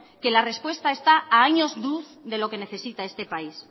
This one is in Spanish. que la respuesta está a años luz de lo que necesita este país